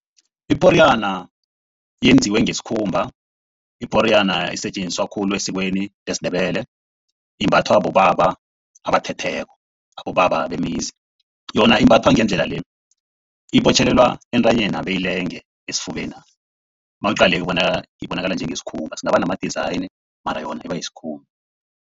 Iporiyana yenziwe ngesikhumba. Iporiyana isetjenziswa khulu esikweni lesiNdebele. Imbathwa bobaba abathetheko. Abobaba bemizi, yona imbathwa ngendlela le. Ibotjhelelwa entanyena beyilenge esifubena nawuyiqalileko ibonakala, ibonakala njengesikhumba singaba nama-design mara yona iba yisikhumba.